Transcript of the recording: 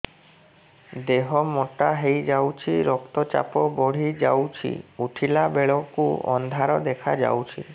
ଦେହ ମୋଟା ହେଇଯାଉଛି ରକ୍ତ ଚାପ ବଢ଼ି ଯାଉଛି ଉଠିଲା ବେଳକୁ ଅନ୍ଧାର ଦେଖା ଯାଉଛି